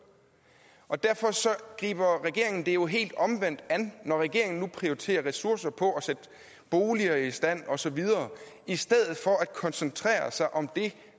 og derfor griber regeringen det helt omvendt an når regeringen nu prioriterer ressourcer på at sætte boliger i stand og så videre i stedet for at koncentrere sig om det